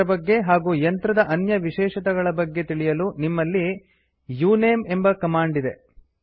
ಇದರ ಬಗ್ಗೆ ಹಾಗೂ ಯಂತ್ರದ ಅನ್ಯ ವಿಶೇಷತೆಗಳ ಬಗ್ಗೆ ತಿಳಿಯಲು ನಮ್ಮಲ್ಲಿ ಉಣಮೆ ಎಂಬ ಕಮಾಂಡ್ ಇದೆ